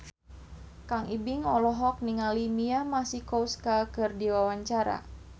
Kang Ibing olohok ningali Mia Masikowska keur diwawancara